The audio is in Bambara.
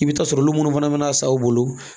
I bɛ taa sɔrɔ olu minnu fana bɛ na a san u bolo